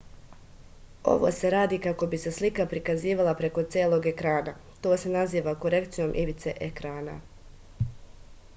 ovo se radi kako bi se slika prikazivala preko celog ekrana to se naziva korekcijom ivice ekrana